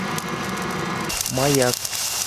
маяк